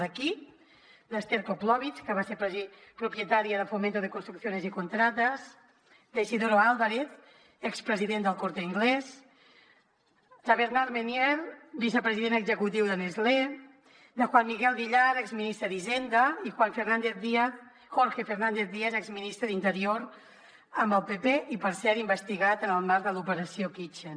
de qui d’esther koplowitz que va ser propietària de fomento de construcciones y contratas d’isidoro álvarez expresident d’el corte inglés de bernard meunier vicepresident executiu de nestlé de juan miguel villar exministre d’hisenda i jorge fernández díaz exministre d’interior amb el pp i per cert investigat en el marc de l’operació kitchen